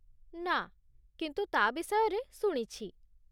ନା, କିନ୍ତୁ ତା' ବିଷୟରେ ଶୁଣିଛି।